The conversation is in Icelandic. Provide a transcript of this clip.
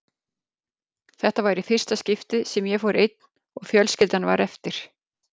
Þetta var í fyrsta skiptið sem ég fór einn og fjölskyldan var eftir.